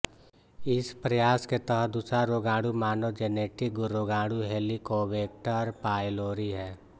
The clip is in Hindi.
इस प्रयास के तहत दूसरा रोगाणु मानव जेनेटिक रोगाणु हेलिकोबैक्टर पायलोरी है